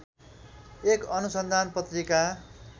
एक अनुसन्धान पत्रिका